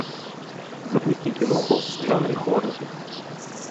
запусти киноху в жанре хоррор